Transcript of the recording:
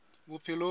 bophelong